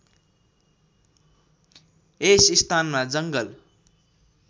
यस स्थानमा जङ्गल